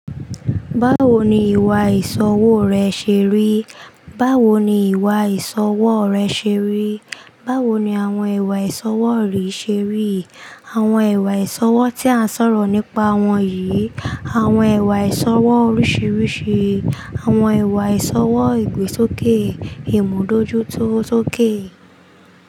Báwo ni ìwà ìṣọwọ́ rẹ ṣé rí? Báwo ni ìwà ìṣọwọ́ rẹ ṣé rí? Báwo ni àwọn ìwà ìṣọwọ́ rí ṣé rí? Àwọn ìwà ìṣọwọ́ tí à ń sọ̀rọ̀ nípa wọ̀nyí. Àwọn ìwà ìṣọwọ́ oríṣiríṣi. Àwọn ìwà ìṣọwọ́ ìgbésókè, ìmúdójú tó tóké.